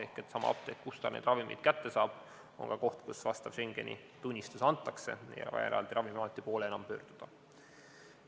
Ehk sama apteek, kust ta need ravimid kätte saab, on ka koht, kus vastav Schengeni tunnistus antakse, nii et ei ole vaja eraldi Ravimiameti poole enam pöörduda.